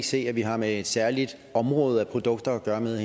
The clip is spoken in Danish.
se at vi har med et særligt område at produkter